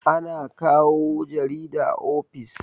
ana kawo jarida ofis